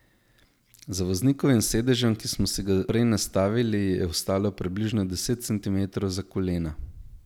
Za voznikovim sedežem, ki smo si ga prej nastavili je ostalo približno deset centimetrov za kolena.